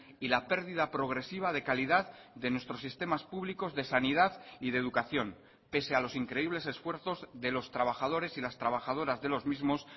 y la pérdida progresiva de calidad de nuestros sistemas públicos de sanidad y de educación pese a los increíbles esfuerzos de los trabajadores y las trabajadoras de los mismos